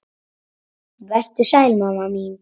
Vertu sæl, mamma mín.